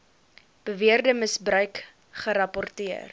beweerde misbruik gerapporteer